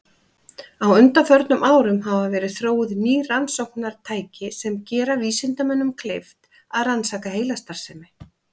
Á undanförnum árum hafa verið þróuð ný rannsóknartæki sem gera vísindamönnum kleift að rannsaka heilastarfsemi.